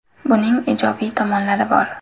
Buning ijobiy tomonlari bor.